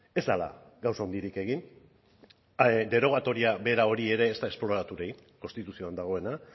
ez dela gauza handirik egin derogatoria bera hori ere ez da esploratu ere egin konstituzioan dagoena